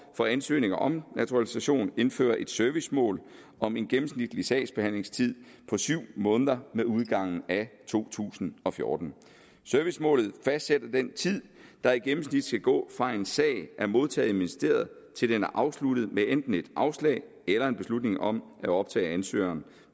for ansøgninger om naturalisation indføre et servicemål om en gennemsnitlig sagsbehandlingstid på syv måneder med udgangen af to tusind og fjorten servicemålet fastsætter den tid der i gennemsnit skal gå fra en sag er modtaget i ministeriet til den er afsluttet med enten et afslag eller en beslutning om at optage ansøgeren